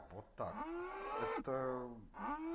вот так это